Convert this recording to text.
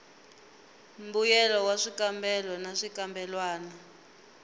mbuyelo wa swikambelo na swikambelwana